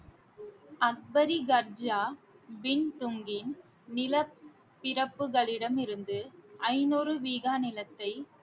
அக்பரி கட்ஜா நில பிறப்புகளிடம் இருந்து ஐநூறு வீகா நிலத்தை